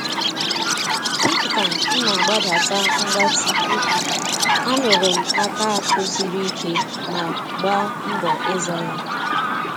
Dị ka m na-agbadata ngbati úkwù, a nụrụ m aka akụ sịrị ike ma gba mbọ ịza ya